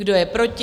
Kdo je proti?